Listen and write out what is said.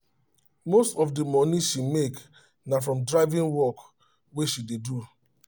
most of the money she make na from driving work wey she dey do